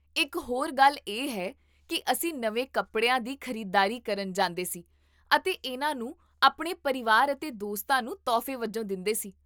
ਇਕ ਹੋਰ ਗੱਲ ਇਹ ਹੈ ਕੀ ਅਸੀਂ ਨਵੇਂ ਕੱਪੜਿਆਂ ਦੀ ਖ਼ਰੀਦਦਾਰੀ ਕਰਨ ਜਾਂਦੇ ਸੀ ਅਤੇ ਇੰਨਾ ਨੂੰ ਆਪਣੇ ਪਰਿਵਾਰ ਅਤੇ ਦੋਸਤਾਂ ਨੂੰ ਤੋਹਫ਼ੇ ਵਜੋਂ ਦਿੰਦੇਸੀ